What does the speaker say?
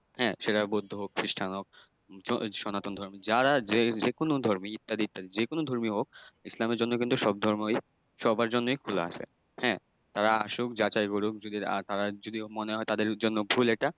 হ্যাঁ সেটা বৌদ্ধ হোক, খ্রিষ্টান হোক, সনাতন ধর্মের যারা যে যেকোনো ধর্মী ইত্যাদি ইত্যাদি যেকোনো ধর্মীয় হোক ইসলামের জন্য কিন্তু সব ধর্মই সবার জন্যই খোলা আছে। হ্যাঁ? তারা আসুক, যাচাই করুক যদি তারা যদি মনে হয় তাদের জন্য ভুল এটা